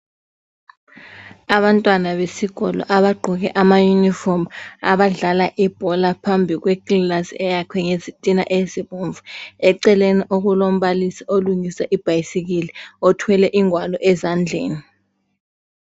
Abantwana besikolo abagqoke ama yunifomu abadlala ibhola phambi kwekilasi eyakhwe ngezitina ezibomvu eceleni okulombalisi olungisa ibhayisikili othwele ingwalo ezandleni